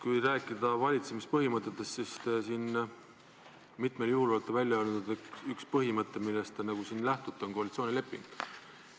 Kui rääkida valitsemispõhimõtetest, siis te olete siin mitmel juhul välja öelnud, et üks, millest te lähtute, on koalitsioonileping.